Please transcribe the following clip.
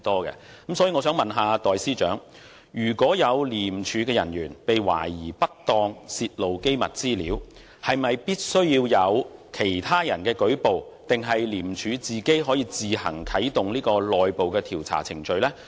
因此，我想問代司長，如果有廉署人員被懷疑不當泄露機密資料，是否必須由其他人舉報，還是廉署可自行啟動內部調查程序？